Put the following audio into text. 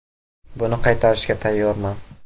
Buni qaytarishga tayyorman.